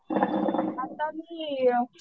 आता मी